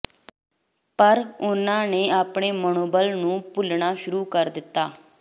ਪਰ ਉਨ੍ਹਾਂ ਨੇ ਆਪਣੇ ਮਨੋਬਲ ਨੂੰ ਭੁੱਲਣਾ ਸ਼ੁਰੂ ਕਰ ਦਿੱਤਾ